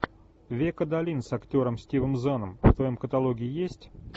век адалин с актером стивом заном в твоем каталоге есть